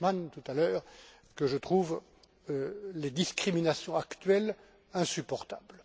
Cashman tout à l'heure, que je trouve les discriminations actuelles insupportables.